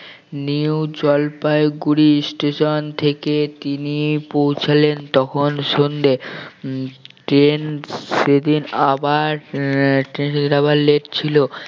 new Jalpaiguri station থেকে তিনি পৌঁছালেন তখন সন্ধ্যে উম ট্রেন সেদিন আবার আহ ট্রেন সেদিন আবার late ছিল